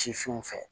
Sifinw fɛ